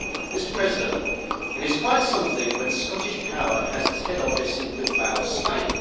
Mr President, it is quite something when Scottish Power has its head office in Bilbao, Spain.